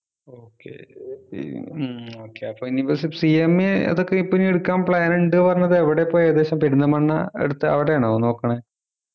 okay ഏർ ഉം okay അപ്പൊ ഇനി ഇപ്പൊ CMA അതൊക്കെ ഇപ്പോ ഇനി എടുക്കാൻ plan ഉണ്ട് പറഞ്ഞത് എവിടെയാ ഇപ്പൊ ഏകദേശം പെരിന്തൽമണ്ണ അടുത്ത് അവിടെ ആണോ നോക്കണേ